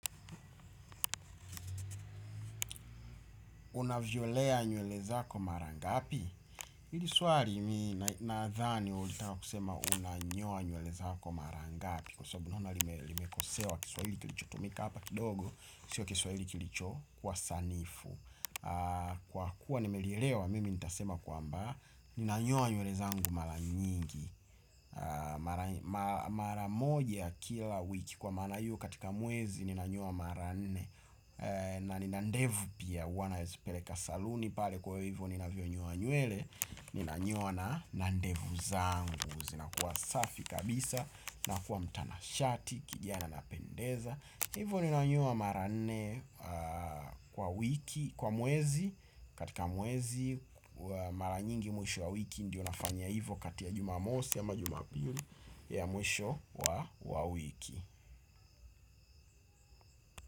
Unavyolea nywele zako mara ngapi? Hili swali nadhani ulitaka kusema unanyoa nywele zako mara ngapi kwa sababu naona limekosewa kiswahili kilichotumika hapa kidogo sio kiswahili kilicho kuwa sanifu. Kwa kuwa nimelielewa mimi nitasema kwamba ninanyoa nywele zangu mara nyingi, mara moja kila wiki kwa maana hiyo katika mwezi ninanyoa mara nne. Na nina ndevu pia huwa nazipeleka kwenye saluni pale kwa hivyo ninavyonyoa nywele. Ninanyoa na, na ndevu zangu zinakuwa safi kabisa, nakuwa mtanashati, kijana napendeza. Hivyo ninanyoa mara nne kwa wiki, kwa mwezi, katika mwezi mara nyingi mwisho wa wiki ndiyo nafanya hivyo kati ya jumamosi ama jumapili ya mwisho wa wiki.